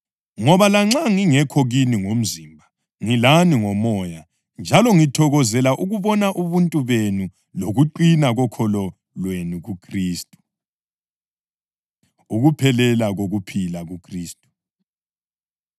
Ngoba lanxa ngingekho kini ngomzimba ngilani ngomoya njalo ngithokozela ukubona ubuntu benu lokuqina kokholo lwenu kuKhristu. Ukuphelela Kokuphila KuKhristu